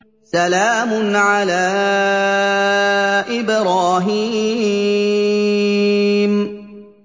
سَلَامٌ عَلَىٰ إِبْرَاهِيمَ